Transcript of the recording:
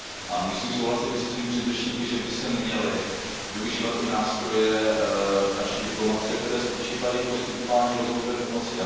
A musím souhlasit se svými předřečníky, že by se měly využívat i nástroje naší diplomacie, které spočívají v poskytování rozvojové pomoci.